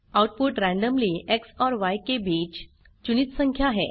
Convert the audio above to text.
output randomly X और य के बीच चुनित संख्या है